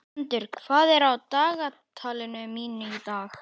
Gvöndur, hvað er á dagatalinu mínu í dag?